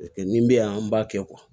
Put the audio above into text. nin bɛ yan an b'a kɛ